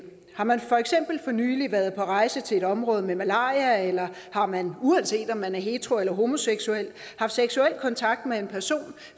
har man for eksempel for nylig været på rejse til et område med malaria eller har man uanset om man er hetero eller homoseksuel haft seksuel kontakt med en person